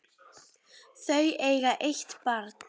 Þau eiga eitt barn.